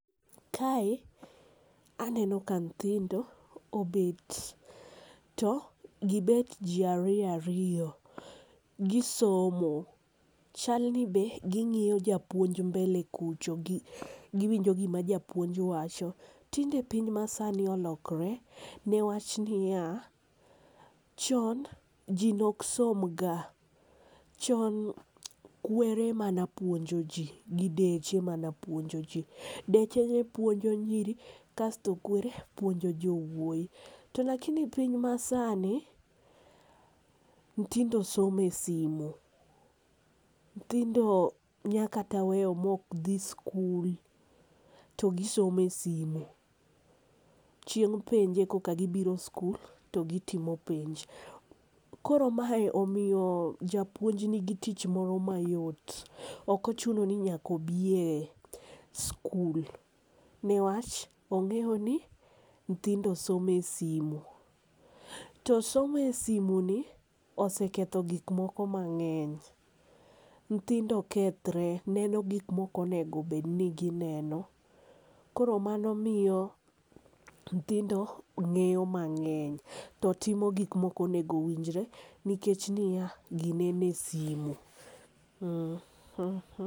Kae aneno ka nyithindo obet to gi bet ji ariyo ariyo gi somo chal ni be gi ng'iyo japuonj mbele kucho gi winjo gi ma japuonj wacho. Tinde piny ma saa ni olokre ne wach ni ya, chon ji ne ok som ga chon kwere emane puonjo ji gi deche mane puonjo ji. Deche ne puonjo nyiri kasto kwere puonjo jowuoyi to lakini piny ma sani nyithindo somo e simo ,nyithindo nya kata weyo ma ok dhi skul to gi somo e simo chieng penj e koka gi biro skul to gi timo penj koro mae omiyo japouonj ni gi tich moro ma yot ok ochuno ni nyak aobiye e skul ne wach ongeyo ni niyindho somo e simo. To somo e simo ni oseketho gik moko mangeny nyithindo kethre, neno gik ma ok onego bed ni gi neno koro mano miyo nyithindo ngeyo mangeny to timo gik ma ok onego winjre nikech ji ya, gi neno e simo.